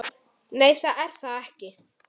Nei, það er það ekki.